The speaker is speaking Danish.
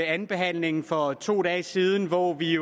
andenbehandlingen for to dage siden hvor vi